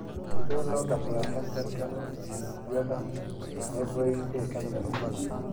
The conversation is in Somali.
Sidee loo dhaxlaa kansarka unugyada nevoid ee kansarka?